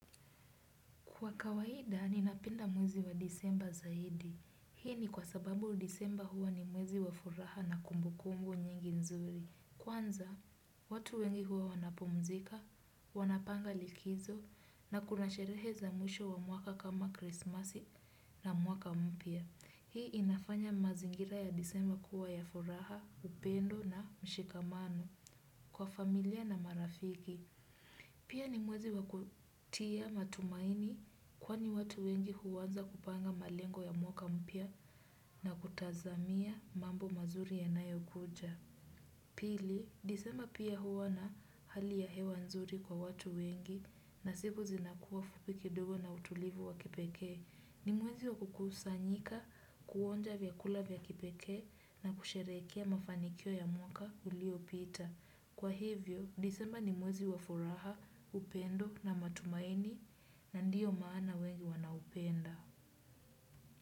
Kwa kawaida, ninapenda mwezi wa disemba zaidi. Hii ni kwa sababu disemba huwa ni mwezi wa furaha na kumbukumbu nyingi nzuri. Kwanza, watu wengi huwa wanapumzika, wanapanga likizo na kuna sherehe za mwisho wa mwaka kama Christmas na mwaka mpia. Hii inafanya mazingira ya disemba kuwa ya furaha, upendo na mshikamano kwa familia na marafiki. Pia ni mwezi wa kutia matumaini kwani watu wengi huanza kupanga malengo ya mwaka mpya na kutazamia mambo mazuri yanayo kuja. Pili, disema pia huwa na hali ya hewa nzuri kwa watu wengi na siku zinakuwa fupi kidogo na utulivu wa kipekee. Ni mwezi wa kukusanyika, kuonja vyakula vya kipekee na kusherehekea mafanikio ya mwaka uliopita. Kwa hivyo, disemba ni mwezi wa furaha, upendo na matumaini na ndiyo maana wengi wanaupenda.